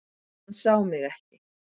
Hann sá mig ekki.